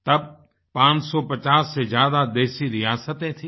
तब 550 से ज्यादा देशी रियासते थीं